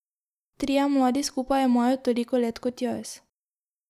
Trije mladi skupaj imajo toliko let kot jaz.